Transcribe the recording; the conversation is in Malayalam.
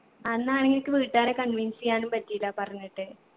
അന്നാണെങ്കി എനിക്ക് വീട്ടുകാരെ convince എയ്യാനും പറ്റീല പറഞ്ഞിട്ട്